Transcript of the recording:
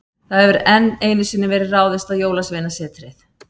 Það hefur enn einu sinni verið ráðist á Jólasveinasetrið.